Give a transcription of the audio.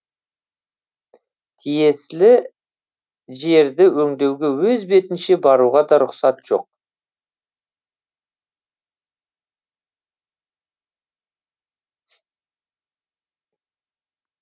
тиесілі жерді өңдеуге өз бетінше баруға да рұқсат жоқ